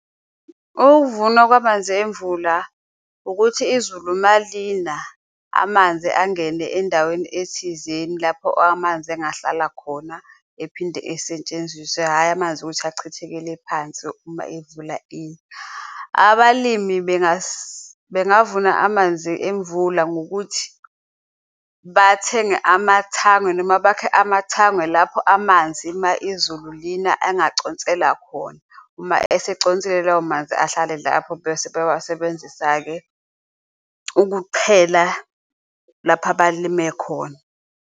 Ukuvunwa kwamanzi emvula ukuthi izulu malina amanzi angene endaweni ethizeni lapho amanzi engahlala khona ephinde esetshenziswe, hhayi amanzi ukuthi achithekele phansi uma imvula ina. Abalimi bengavuna amanzi emvula ngokuthi bathenge amathangwe noma bakhe amathangwe lapho amanzi uma izulu lina angaconsela khona. Uma eseconsele lawo manzi ahlale lapho bese bewasebenzisa-ke ukuqhela lapho abalime khona.